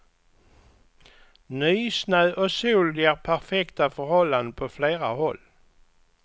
Nysnö och sol ger perfekta förhållanden på flera håll.